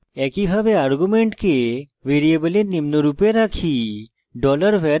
একইভাবে arguments ভ্যারিয়েবলে নিম্নরুপে রাখি: